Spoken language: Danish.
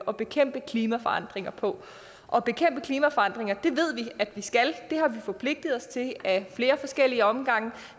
at bekæmpe klimaforandringer på at bekæmpe klimaforandringer ved vi at vi skal det har vi forpligtet os til af flere forskellige omgange